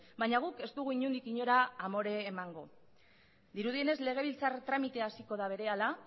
baina guk ez dugu inondik inora amore emango dirudienez legebiltzar tramite hasiko da berehala